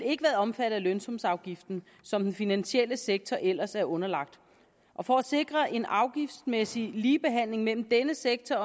ikke været omfattet af lønsumsafgiften som den finansielle sektor ellers er underlagt og for at sikre en afgiftsmæssig ligebehandling mellem denne sektor